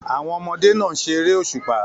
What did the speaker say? Àwọn ọmọdé náà ń ṣe eré òṣùpá